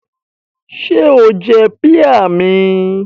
Ṣé o jẹ píà mi?